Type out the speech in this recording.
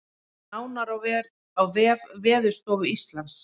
Nánar á vef Veðurstofu Íslands